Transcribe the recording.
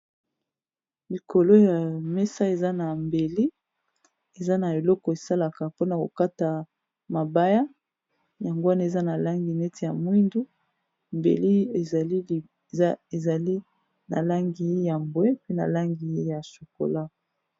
Likolo ya mesa eza na mbeli eza na eloko esalaka mpona kokata mabaya yango wana eza na langi neti ya mwindu mbeli ezali na langi ya mbwe mpe na langi ya chokola.